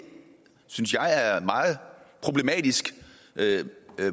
synes jeg er meget problematisk